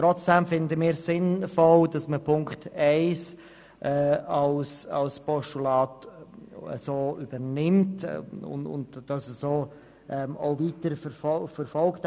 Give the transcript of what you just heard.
Trotzdem finden wir es sinnvoll, die Ziffer 1 als Postulat zu übernehmen und den CMI so auch weiterzuverfolgen.